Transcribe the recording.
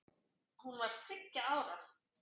Hún var þriggja ára.